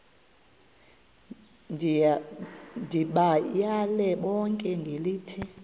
ndibayale bonke ngelithi